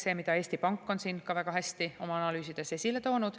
Seda on ka Eesti Pank väga hästi oma analüüsides esile toonud.